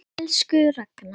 Elsku Ragna.